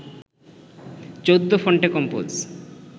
চৌদ্দ ফন্টে কম্পোজ